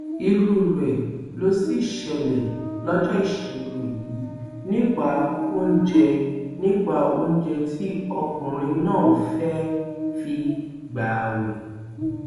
irú rẹ ló sì ṣẹlẹ lọjọ ìṣẹgun yìí nípa oúnjẹ nípa oúnjẹ tí ọkùnrin náà fẹẹ fi gbààwẹ